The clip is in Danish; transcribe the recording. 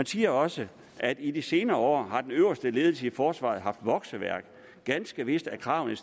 siger også i de senere år har den øverste ledelse i forsvaret haft vokseværk ganske vist er kravene